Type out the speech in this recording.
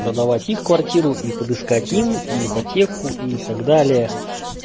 продавать их квартиру и подыскать им и ипотеку и так далее